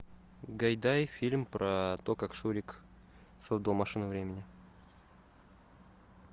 гайдай фильм про то как шурик создал машину времени